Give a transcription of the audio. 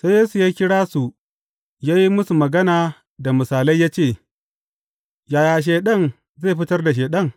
Sai Yesu ya kira su, ya yi musu magana da misalai ya ce, Yaya Shaiɗan zai fitar da Shaiɗan?